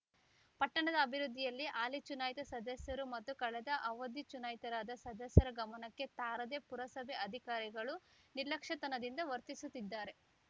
ಪಟ್ಟಣದ ಅಭಿವೃದ್ಧಿಯಲ್ಲಿ ಹಾಲಿ ಚುನಾಯಿತ ಸದಸ್ಯರು ಮತ್ತು ಕಳೆದ ಅವಧಿ ಚುನಾಯಿತರಾದ ಸದಸ್ಯರ ಗಮನಕ್ಕೆ ತಾರದೇ ಪುರಸಭೆ ಅಧಿಕಾರಿಗಳು ನಿರ್ಲಕ್ಷ್ಯತನದಿಂದ ವರ್ತಿಸುತ್ತಿದ್ದಾರೆ